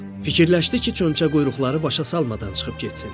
Fikirləşdi ki, çömçəquyruqları başa salmadan çıxıb getsin.